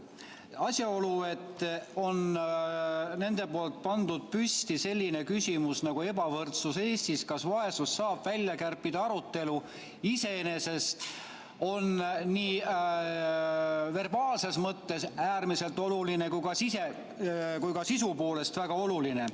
Asjaolu, et on nad pannud püsti sellise küsimuse nagu "Ebavõrdsus Eestis – kas vaesusest saab välja kärpida?" arutelu, on iseenesest nii verbaalses mõttes äärmiselt oluline kui ka sisu poolest väga oluline.